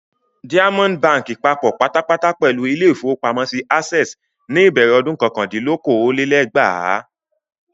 Diamond Báńkì papọ̀ pátápátá pẹ̀lú ilé-ìfowópamọ́sí Access ní ìbẹ̀rẹ̀ ọdún kọkàndínlókòó-lé-ẹgbàá.